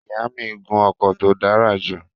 Ìyá mi n gun ọkọ̀ tó dára jù